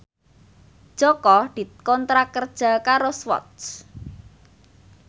Jaka dikontrak kerja karo Swatch